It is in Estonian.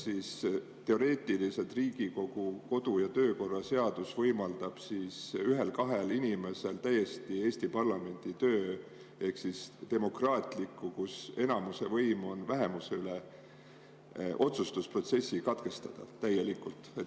Kas teoreetiliselt Riigikogu kodu‑ ja töökorra seadus võimaldab ühel-kahel inimesel täiesti Eesti parlamendi töö ehk demokraatliku otsustusprotsessi, kus on enamuse võim vähemuse üle, katkestada?